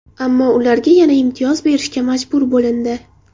Ammo ularga yana imtiyoz berishga majbur bo‘lindi.